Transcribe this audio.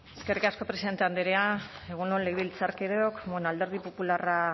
eskerrik asko presidente andrea egun on legebiltzarkideok bueno alderdi popularra